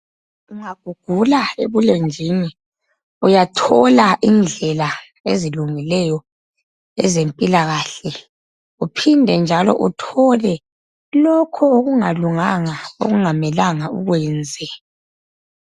Ungagugula ebulenjini uyathola indlela ezilungileyo ezempilakahle uphinde njalo uthole lokho okungalunganga okungamelanga ukwenze.